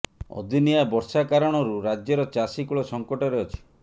ଅଦିନିଆ ବର୍ଷା କାରଣରୁ ରାଜ୍ୟର ଚାଷୀ କୂଳ ସଙ୍କଟରେ ଅଛି